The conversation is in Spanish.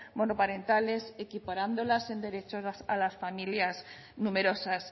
monoparentales equiparándolas en derecho a las familias numerosas